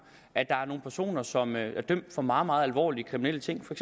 at der er nogle personer som er dømt for meget meget alvorlige kriminelle ting for